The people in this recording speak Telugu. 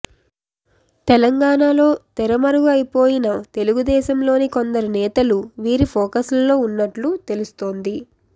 తెలంగాణలో తెరమరుగు అయిపోయిన తెలుగుదేశంలోని కొందరు నేతలు వీరి ఫోకస్లో ఉన్నట్లు తెలుస్తోంది